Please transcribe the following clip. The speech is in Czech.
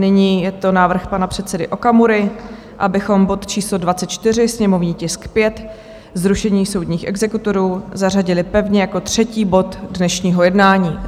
Nyní je to návrh pana předsedy Okamury, abychom bod číslo 24, sněmovní tisk 5, zrušení soudních exekutorů, zařadili pevně jako třetí bod dnešního jednání.